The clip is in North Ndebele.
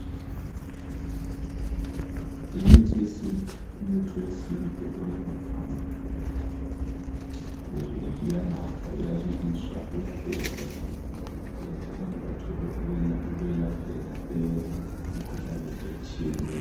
Imithi yesintu, umuthi wesintu owelaphayo, uyanathwa, uyabiliswa, uyagejwa. Abantu bathola ukwelapheka emikhuhlaneni etshiyeneyo.